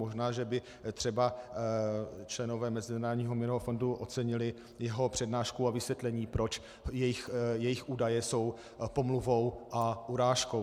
Možná že by třeba členové Mezinárodního měnového fondu ocenili jeho přednášku a vysvětlení, proč jejich údaje jsou pomluvou a urážkou.